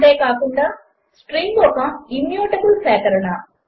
అంతే కాకుండా స్ట్రింగ్ ఒక ఇమ్యూటబుల్ సేకరణ